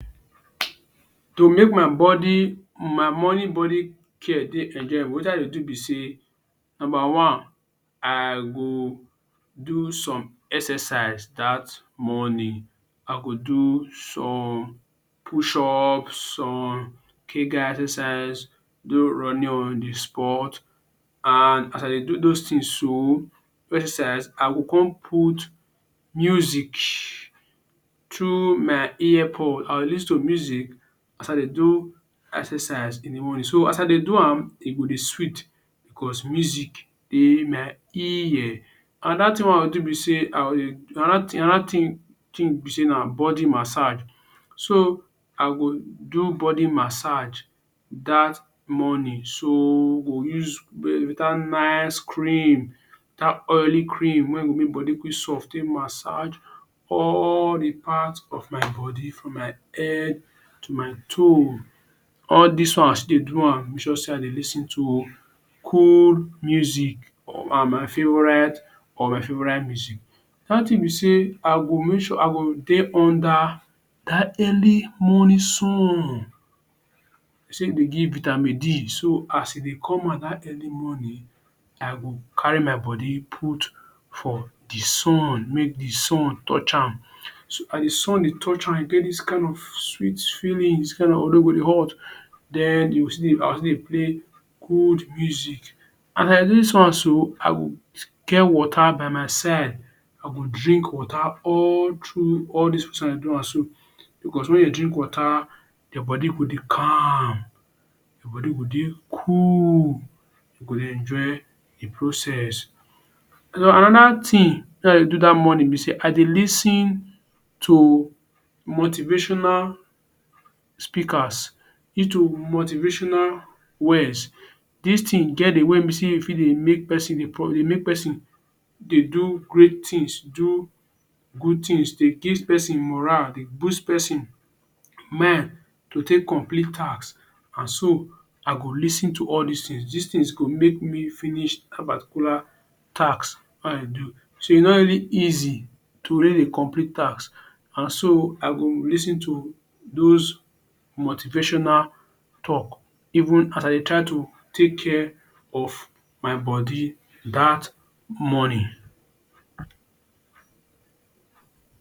To make my body my morning body care dey enjoyable, wetin i dey do be sey? Number one, I go do some exercise dat morning. I go do some push up, some Kegel exercise, do running on the spot and as i dey do dos things so do exercise. I go con put music through my ear pod. I go dey lis ten to music as i dey do exercise in the morning. So, as i dey do am, e go dey sweet because music dey my ear. Another thing wey i dey do be sey, i go dey another thing another thing thing be sey na body massage. So, i go do body massage dat morning. So, we go use um better nice cream dat oily cream wey go make body quick soft take massage all the part of my body, from my head to my toe. All dis one as you dey do am, i make sure sey i dey lis ten to cool music, my favourite or my favourite music. Another thing be sey, i go make sure i go dey under dat early morning sun. De say e dey give vitamin D. So, as e dey come out dat early morning, i go carry my body put for the sun, make the sun touch am. So, as the sun dey touch am, e get dis kind of sweet feelings wey your body go dey hot. Den you go still dey i go still dey play cool music. As i dey sun so, i go get water by my side. I go drink water all through all dis process I dey do am so. Because when you drink water, your body go dey calm, you body go dey cool. You go dey enjoy the process. And den another thing wey i dey do dat morning be sey i dey lis ten to motivational speakers, lis ten to motivational words. Dis thing get way when be sey e fit dey make pesin dey pon dey make pesin dey do great thing, do good things, dey give pesin morale, dey boost pesin mind to take complete task and so i go lis ten to all dis things. Dis things go make me finish dat particular task wey i dey do. So, e no really easy to win a complete task and so, I go lis ten to dos motivational talk even as i dey try to take care of my body dat morning.